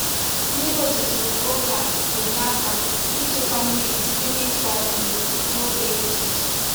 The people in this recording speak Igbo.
Mmiri ozuzo nke oge na-enye aka ịchekwa mmiri site n’itughari ugbo n’oge dị iche iche.